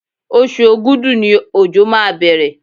Oṣù Ògùdú ni òjò máa bẹ̀rẹ̀.